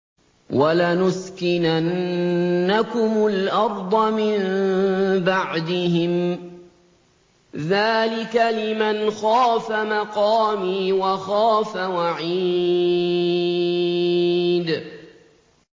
وَلَنُسْكِنَنَّكُمُ الْأَرْضَ مِن بَعْدِهِمْ ۚ ذَٰلِكَ لِمَنْ خَافَ مَقَامِي وَخَافَ وَعِيدِ